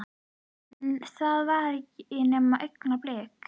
En það var ekki nema augnablik.